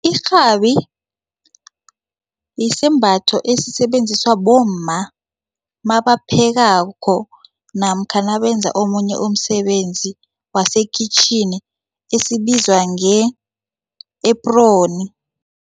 Irhabi yisembatho esisebenziswa bomma nabaphekako namkha nabenza omunye umsebenzi wasekhitjhini esibizwa nge-apron.